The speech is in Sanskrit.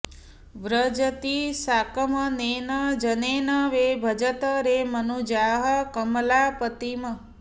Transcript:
व्रजति साकमनेन जनेन वै भजत रे मनुजाः कमलापतिम्